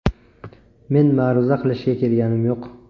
Men ma’ruza qilishga kelganim yo‘q.